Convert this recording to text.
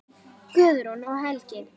Guðrún og Helgi.